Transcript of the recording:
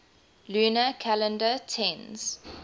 lunar calendar tends